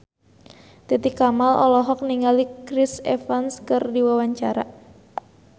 Titi Kamal olohok ningali Chris Evans keur diwawancara